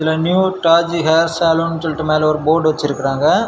இதுல new Taj hair salon சொல்லிட்டு மேல போர்டு வச்சிருக்குராங்க.